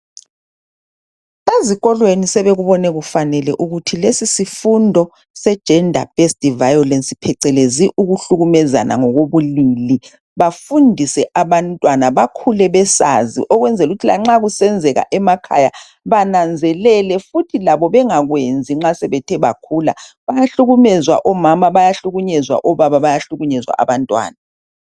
Ezikolweni sebekubekubone kufanele ukuthi lesisifundo se gender based violence phecelezi ukuhlukumezana ngokobulili bafundise abantwana bakhule besazi ukwenzela ukuthi lanxa kusenzakala emakhaya bananzelele futhi labo bangakwenzi nxa sebethe bakhula bayahlukunyezwa omama, bayahlukunyezwa obaba, bayahlukunyezwa abantwana.